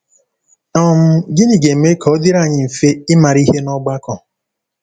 um Gịnị ga-eme ka ọ dịrị anyị mfe ịmara ihe n’ọgbakọ?